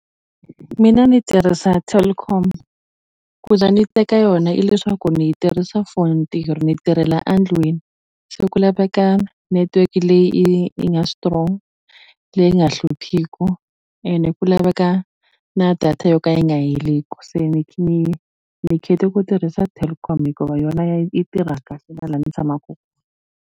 Mina ni tirhisa Telkom ku za ni teka yona hileswaku ni yi tirhisa for ntirho ni tirhela a ndlwini se ku laveka network leyi yi nga strong leyi nga hluphiku ene ku laveka na data yo ka yi nga heliku se ni i ni khete ku tirhisa Telkom hikuva yona ya yi tirha kahle na la ni tshamaku.